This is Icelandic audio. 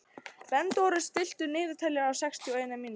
Bernódus, stilltu niðurteljara á sextíu og eina mínútur.